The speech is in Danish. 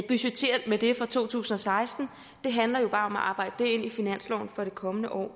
budgettere med det for to tusind og seksten det handler jo bare om at arbejde det ind i finansloven for det kommende år